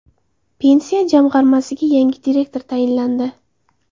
Pensiya jamg‘armasiga yangi direktor tayinlandi.